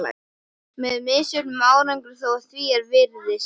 Með misjöfnum árangri þó, að því er virtist.